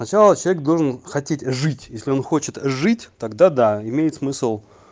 начало человек должен хотеть жить если он хочет жить тогда да имеет смысл